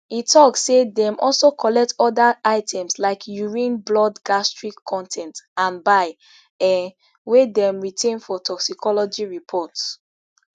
e tok say dem also collect oda items like urine blood gastric con ten t and bile um wey dem retain for toxicology report